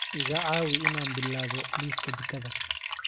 iga caawi in aan bilaabo liiska jikada